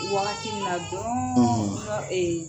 Mɔgɔ wagati mina donyɔrɔ nɔ ee